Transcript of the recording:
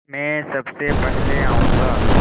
मैं सबसे पहले जाऊँगा